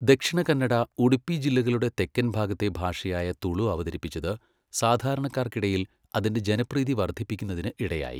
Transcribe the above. ദക്ഷിണ കന്നഡ, ഉഡുപ്പി ജില്ലകളുടെ തെക്കൻ ഭാഗത്തെ ഭാഷയായ തുളു അവതരിപ്പിച്ചത് സാധാരണക്കാർക്കിടയിൽ അതിന്റെ ജനപ്രീതി വർധിപ്പിക്കുന്നതിന് ഇടയായി.